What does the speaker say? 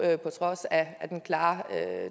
trods af den klare